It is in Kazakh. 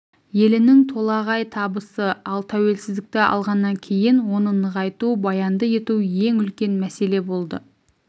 елінің толағай табысы ал тәуелсіздікті алғаннан кейін оны нығайту баянды ету ең үлкен мәселе болды